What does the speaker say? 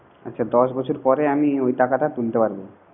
আচ্ছা দশ বছর পরে আমি ওই টাকাটা তুলতে পারবো